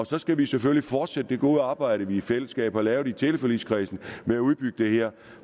så skal vi selvfølgelig fortsætte det gode arbejde vi i fællesskab har lavet i teleforligskredsen med at udbygge det her